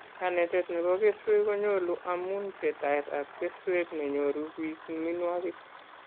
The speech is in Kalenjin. Kanetet nebo keswek konyolu amun pchetaet ab keswek nenyoru bik minwogik